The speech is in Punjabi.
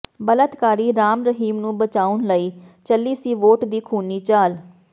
ਬਲਾਤਕਾਰੀ ਰਾਮ ਰਹੀਮ ਨੂੰ ਬਚਾਉਣ ਲਈ ਚੱਲੀ ਸੀ ਵੋਟ ਦੀ ਖੂਨੀ ਚਾਲ